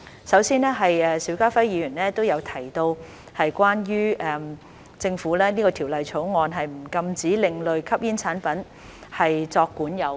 首先是邵家輝議員有提及，政府這項條例草案不禁止另類吸煙產品作管有。